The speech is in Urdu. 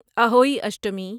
اہوئی اشٹمی